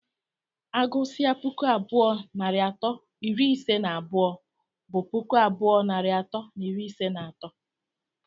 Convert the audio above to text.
Agụsịa puku abụọ narị atọ na iri ise na abụọ, bụ puku abụọ narị atọ na iri ise na atọ.